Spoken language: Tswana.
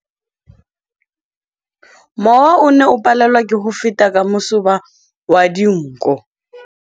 Mowa o ne o palelwa ke go feta ka masoba a dinko.